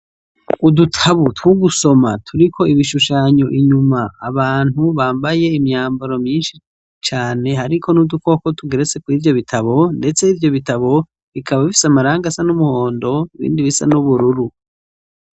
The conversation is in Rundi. udutabu two gusoma turiko ibishushanyo inyuma , abantu bambaye imyambaro myinshi cane hariko n'udukoko tugeretse kw'ivyo bitabo, ndets'ivyo bitabo bikaba bifis'amarangi asa n'umuhondo ibindi bisa n'ubururu